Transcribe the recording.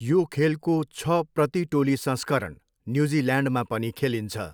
यो खेलको छ प्रति टोली संस्करण न्युजिल्यान्डमा पनि खेलिन्छ।